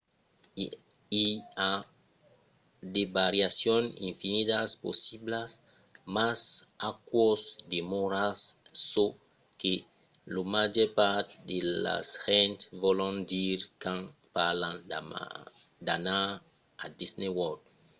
i a de variacions infinidas possiblas mas aquò demòra çò que la màger part de las gents vòlon dire quand parlan d""anar a disney world